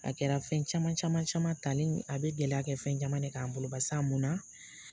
A kɛra fɛn caman caman caman talen a bɛ gɛlɛya kɛ fɛn caman de k'an bolo barisa a munna